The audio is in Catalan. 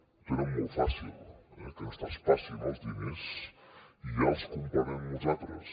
ho tenen molt fàcil eh que ens traspassin els diners i ja els comprarem nosaltres